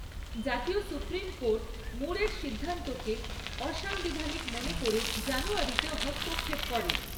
জাতীয় supreme court মুরের সিদ্ধান্তকে অসাংবিধানিক মনে করে জানুয়ারিতে হস্তক্ষেপ করে।